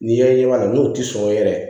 N'i yɛrɛ ɲɛ b'a la n'o tɛ sɔn yɛrɛ